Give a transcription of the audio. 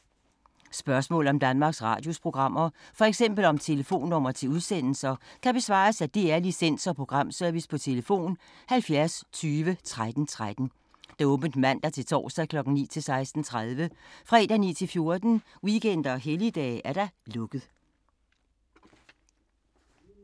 Spørgsmål om Danmarks Radios programmer, f.eks. om telefonnumre til udsendelser, kan besvares af DR Licens- og Programservice: tlf. 70 20 13 13, åbent mandag-torsdag 9.00-16.30, fredag 9.00-14.00, weekender og helligdage: lukket.